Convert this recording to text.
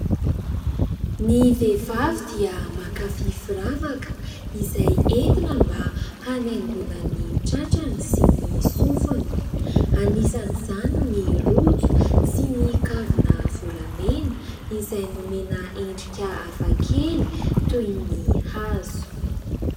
Ny vehivavy dia mankafy firavaka izay entina mba hanaingoana ny tratrany, sy ny sofiny. Anisan'izany ny rojo sy ny kavina volamena, izay nomena endrika hafakely toy ny hazo.